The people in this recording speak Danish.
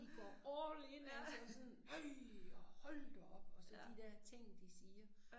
De går all in altså sådan ej og hold da op og så de dér ting de siger